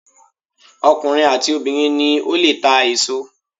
Ọkùnrin àti obìnrin ni ó lè ta èso.